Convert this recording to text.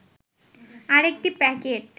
আরেকটি প্যাকেট